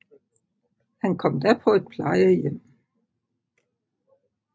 Hun kom da på et plejehjem